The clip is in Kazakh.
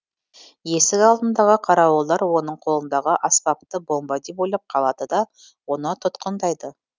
есік алдындағы қарауылдар оның қолындағы аспапты бомба деп ойлап қалады да оны тұтқындайды